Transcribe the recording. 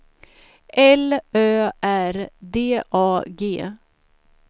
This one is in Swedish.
L Ö R D A G